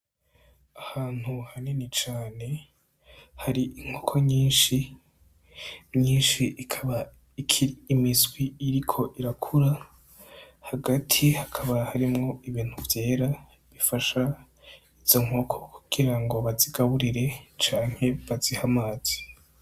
Ahantu hanini cane hari inkoko nyinshi, nyinshi ikaba ikiri imiswi iriko irakura, hagati hakaba harimwo ibintu vyera bifasha izo nkoko kugira ngo bazigaburire canke bazihe amazi.